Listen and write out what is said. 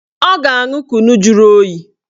Ọ ga-aṅụ kunu juru oyi